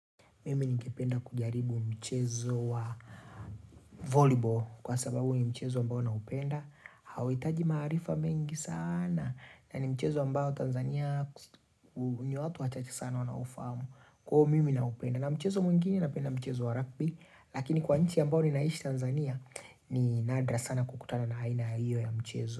Mimi ningependa kujaribu mchezo wa volleyball kwa sababu ni mchezo ambao naupenda Hauitaji maarifa mengi saana na ni mchezo ambao Tanzania ubuni wa hapa wahitaji sana wanao ufahamu Kwa hivyo mimi naupenda na mchezo mwengine napenda mchezo wa rugby Lakini kwa nchi ambao ninaishi Tanzania ni nadra sana kukutana na haina hiyo ya mchezo.